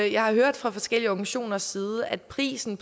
jeg har hørt fra forskellige organisationers side at prisen